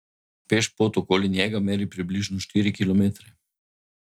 Pešpot okoli njega meri približno štiri kilometre.